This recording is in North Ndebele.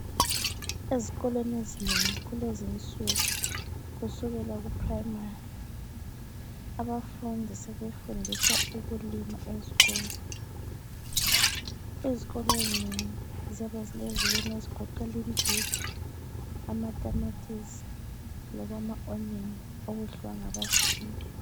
Ezikolweni ezinengi kulezinsuku kusukela kuPrimary abafundi sebefundiswa ukulima eskolo. Izikolo ezinengi ziyabe zilezilimo ezigoqela imbhida, amatamatisi loba ama onion okudliwa ngabafundi.